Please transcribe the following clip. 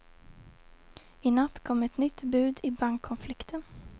I natt kom ett nytt bud i bankkonflikten.